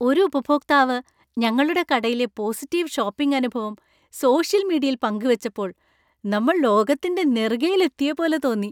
ഒരു ഉപഭോക്താവ് ഞങ്ങളുടെ കടയിലെ പോസിറ്റീവ് ഷോപ്പിംഗ് അനുഭവം സോഷ്യൽ മീഡിയയിൽ പങ്കുവെച്ചപ്പോൾ നമ്മൾ ലോകത്തിന്‍റെ നെറുകയിൽ എത്തിയപ്പോലെ തോന്നി.